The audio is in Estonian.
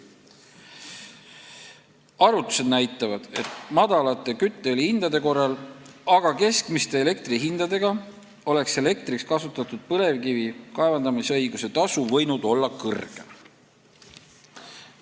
Arvutused näitavad, et madalate kütteõli hindade korral, aga keskmiste elektri hindade korral oleks elektriks kasutatud põlevkivi kaevandamisõiguse tasu võinud olla suurem.